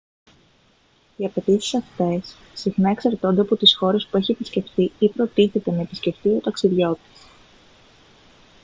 οι απαιτήσεις αυτές συχνά εξαρτώνται από τις χώρες που έχει επισκεφτεί ή προτίθεται να επισκεφτεί ο ταξιδιώτης